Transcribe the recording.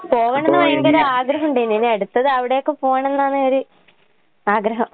പോകണന്ന് ഭയങ്കര ആഗ്രഹിണ്ട്ന്. ഇനി അടുത്തതവടെയൊക്കെ പോണന്നാണ് ഒരു ആഗ്രഹം.